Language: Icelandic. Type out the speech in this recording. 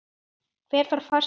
Hver þarf farsíma?